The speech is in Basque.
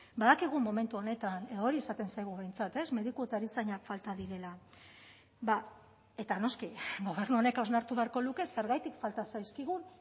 badakigu momentu honetan hori esaten zaigu behintzat ez mediku eta erizainak falta direla eta noski gobernu honek hausnartu beharko luke zergatik falta zaizkigun